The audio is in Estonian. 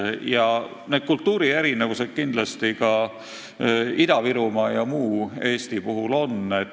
Kindlasti on olemas kultuurierinevused Ida-Virumaa ja muu Eesti vahel.